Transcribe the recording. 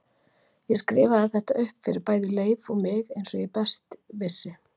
Ég skrifaði þetta upp fyrir bæði Leif og mig eins og best ég vissi.